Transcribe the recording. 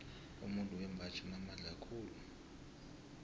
umuntu wembaji unamandla khulu